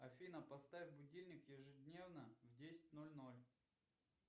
афина поставь будильник ежедневно в десять ноль ноль